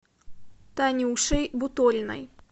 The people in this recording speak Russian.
танюшей буториной